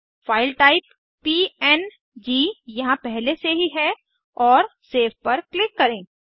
file type PNG यहाँ पहले से ही है और सेव पर क्लिक करें